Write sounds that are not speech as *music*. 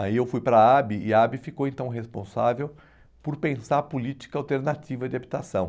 Aí eu fui para a, *unintelligible* e a *unintelligible* ficou então responsável por pensar a política alternativa de habitação.